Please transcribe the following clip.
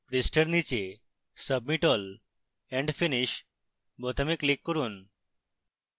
পৃষ্ঠার নীচে submit all and finish বোতামে click করুন